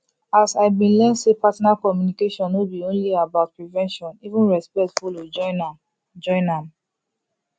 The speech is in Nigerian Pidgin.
as i been learn say partner communication no be only about prevention even respect follow join am join am